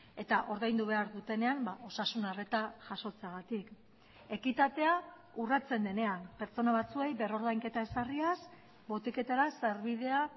eta ordaindu behar dutenean osasun arreta jasotzeagatik ekitatea urratzen denean pertsona batzuei berrordainketa ezarriaz botiketara sarbidea